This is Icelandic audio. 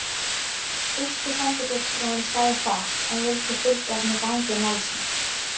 Þýski sendifulltrúinn sagði fátt, en vildi fylgjast með gangi málsins.